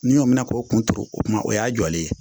Ni y'o minɛ k'o kun turu o kuma o y'a jɔlen ye